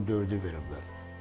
Yəni dekabrın 4-ü veriblər.